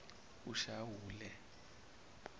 eshawule